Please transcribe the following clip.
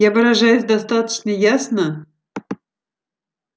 я выражаюсь достаточно ясно